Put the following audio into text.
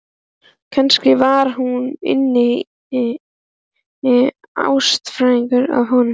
Kannski var hún innst inni ástfangin af honum.